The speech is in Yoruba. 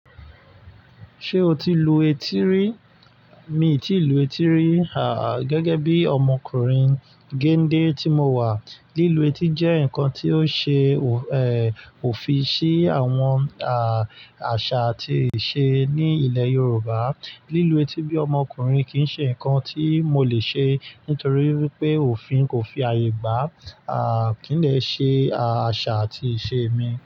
Ṣé o ti lu etí rí? Mi ò tíì lu etí rí, gẹ́gẹ́ bí ọmọkùnrin géńdé tí mo wà. Lílu etí jẹ́ nǹkan tí ó ṣe, òfin sí àwọn àṣà àti ìṣe ní ilẹ̀ Yorùbá. Lílu etí bí ọmọkùnrin kì í ṣe nǹkan tí mo lè ṣe nítorí wípé òfin kò fi àyè gbá. Kì í. Dè ṣe, àṣà àti ìṣe mi.